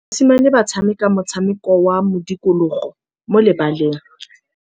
Basimane ba tshameka motshameko wa modikologô mo lebaleng.